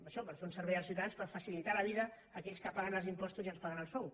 això per fer un servei als ciutadans per facilitar la vida a aquells que paguen els impostos i ens paguen el sou